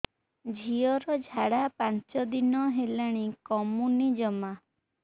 ଝିଅର ଝାଡା ପାଞ୍ଚ ଦିନ ହେଲାଣି କମୁନି ଜମା